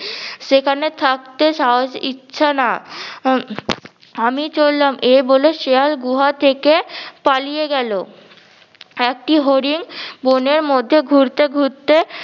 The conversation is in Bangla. সেখানে থাকতে সাহস ইচ্ছা না উম আমি চললাম এই বলে শেয়াল গুহা থেকে পালিয়ে গেলো। একটি হরিণ বনের মধ্যে ঘুরতে ঘুরতে